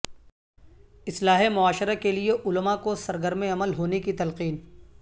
اصلاح معاشرہ کے لیے علماء کو سرگرم عمل ہونے کی تلقین